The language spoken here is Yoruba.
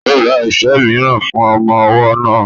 Ó ra ife mìíràn fún ọmọ ọwọ́ náà